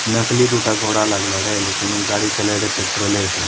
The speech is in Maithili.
नकली दुटा घोड़ा लागला रहे लेकिन उ गाड़ी चला रहे पेट्रोले से।